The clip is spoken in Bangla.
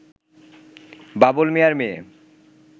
বাবুল মিয়ার মেয়ে